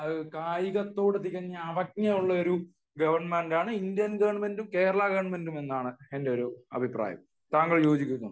അത്രയും കായികത്തോട് അവജ്ഞയുള്ള ഗവണ്മെന്റ് ആണ് ഇന്ത്യൻ ഗവണ്മെന്റും കേരള ഗവണ്മെന്റും എന്നാണ് എന്റെ ഒരു അഭിപ്രായം താങ്കൾ അതിനോട് യോജിക്കുന്നുണ്ടോ